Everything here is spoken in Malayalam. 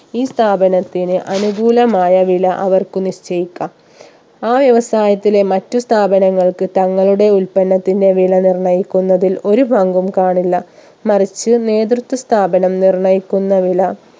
ഈ സ്ഥാപനത്തിന് അനുകൂലമായ വില അവർക്ക് നിശ്ചയിക്കാം ആ വ്യവസായത്തിലെ മറ്റു സ്ഥാപനങ്ങൾക്ക് തങ്ങളുടെ ഉൽപ്പന്നതിന്റെ വില നിർണ്ണയിക്കുന്നതിൽ ഒരു പങ്കും കാണില്ല മറിച്ച് നേതൃത്വ സ്ഥാപനം നിർണ്ണയിക്കുന്ന വില